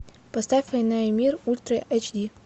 поставь война и мир ультра эйч ди